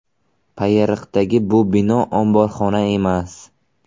Payariqdagi bu bino omborxona emas.